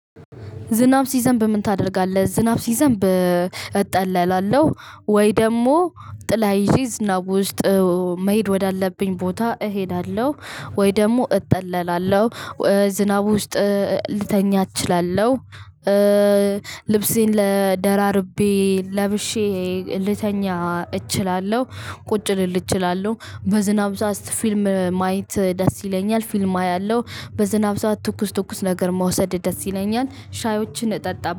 ዝናብ ሲዘንብ ምን ታደርጋለህ? ዝናብ ሲዘንብ እጠለላለው ወይ ደግሞ ጥላ ይዤ ዝናብ ውስጥ መሄድ ወዳለብኝ ቦታ እሄዳለሁ ወይ ደግሞ እጠለላለው። ዝናብ ውስጥ ልተኛ እችላለሁ። ልብሴን ለ ደራርቤ ለብሼ ልተኛ እችላለሁ ቁጭ ልል እችላለሁ በዝናብ ሰዓት ፊልም ማየት ደስ ይለኛል ፊልም አያለሁ በዝናብ ሰዓት ትኩስ ትኩስ ነገር መውሰድ ደስ ይለኛል ሻዮችን እጠጣበ